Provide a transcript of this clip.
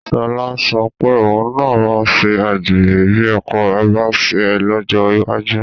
Sọlá sọ pé òun náà máa ṣe àgbèrè bí ọkọ rẹ̀ bá ń ṣe é lọ́jọ́ iwájú